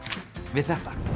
við þetta